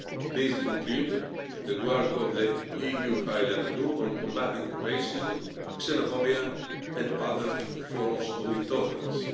This includes the work of the EU High Level Group on combating racism, xenophobia and other forms of intolerance.